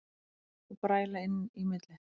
Og bræla inn í milli.